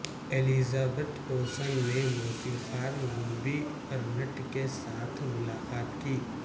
Elizabeth Olsen نے موسیقار Robbie Arnett کے ساتھ ملاقات کی